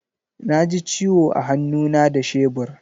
Na ji ciwo a hannu na da shebur.